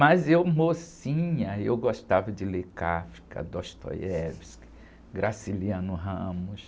Mas eu, mocinha, eu gostava de ler Kafka, Dostoiévski, Graciliano Ramos...